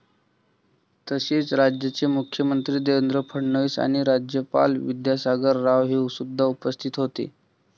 तसेच राज्याचे मुख्यमंत्री देवेंद्र फडणवीस आणि राज्यपाल विद्यासागर राव हे सुद्धा उपस्थित होते.